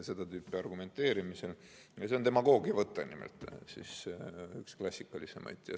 See on demagoogiavõte, ja üks klassikalisemaid.